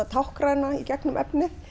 táknræna í gegnum efnið